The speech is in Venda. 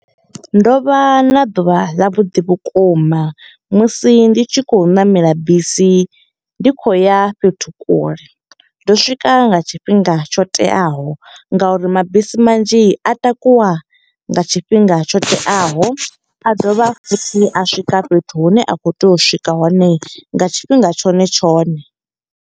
Ndo vha na ḓuvha ḽa vhuḓi vhukuma musi ndi tshi kho ṋamela bisi, ndi khou ya fhethu kule. Ndo swika nga tshifhinga tsho teaho nga uri mabisi manzhi a takuwa nga tshifhinga tsho teaho. A dovha futhi a swika fhethu hune a khou tea u swika hone nga tshifhinga tshone tshone.